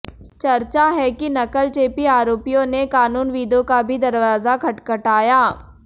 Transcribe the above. चर्चा है कि नकलचेपी आरोपीयों ने कानूनविदों का भी दरवाजा खटखटाया